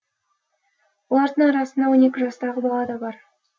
олардың арасында он екі жастағы бала да бар